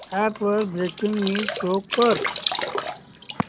app वर breaking news show कर